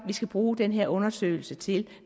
vi skal bruge den her undersøgelse til